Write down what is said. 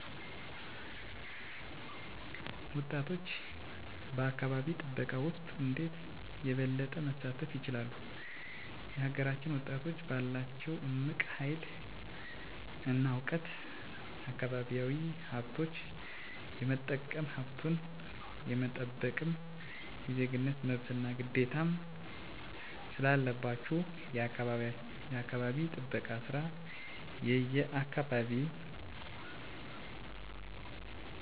ወጣቶች በአካባቢ ጥበቃ ውስጥ እንዴት የበለጠ መሳተፍ ይችላሉ? የሀገራችንን ወጣቶች ባላቸው እምቅ ሀይል እና እውቀት አካባቢያዊ ሀብቶች የመጠቀምም ሀብቱን የመጠበቅም የዜግነት መብትና ግዴታም ስላለባችሁ የአካባቢ ጥበቃ ስራ የየአካባቢያችሁ አምባሳደሮችና ግንባር ቀደሞች በመሆን ማህበረሰቡን ማስገንዘብ በስራው መሳተፍ አለባቸው ለምሳሌ በትምህርት ቤት የአካባቢ እንክብካቤ ክበብ ውስጥ ገብተው መሳተፍ አለባቸው እንዲሁም በሴፍትኔት የአካባቢ ፅዳት በችግኝ ተከላ መሳተፍ አለባቸው